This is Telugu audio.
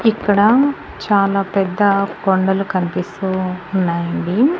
ఇక్కడ చాలా పెద్ద కొండలు కన్పిస్తూ ఉన్నాయండి.